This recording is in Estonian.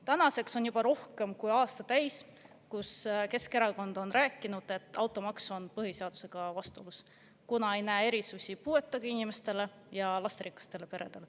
Tänaseks on juba rohkem kui aasta täis, kui Keskerakond on rääkinud, et automaks on põhiseadusega vastuolus, kuna ei näe ette erisusi puuetega inimestele ja lasterikastele peredele.